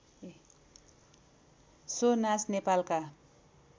so नाच नेपालका